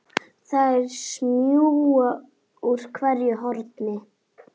Þær smjúga úr hverju horni.